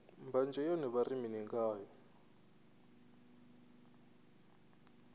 mbanzhe yone vha ri mini ngayo